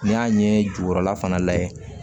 N'i y'a ɲɛ jukɔrɔla fana layɛ